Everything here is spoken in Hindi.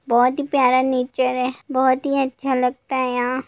बहोत ही प्यारा नेचर है बहोत ही अच्छा लगता है यहाँ---